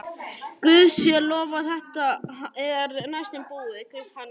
Hann hvíslaði: Guði sé lof að þetta er næstum búið.